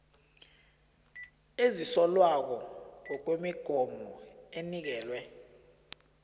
ezisolwako ngokwemigomo enikelwe